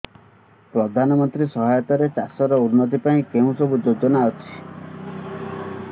ପ୍ରଧାନମନ୍ତ୍ରୀ ସହାୟତା ରେ ଚାଷ ର ଉନ୍ନତି ପାଇଁ କେଉଁ ସବୁ ଯୋଜନା ଅଛି